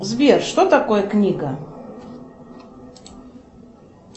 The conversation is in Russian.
сбер что такое книга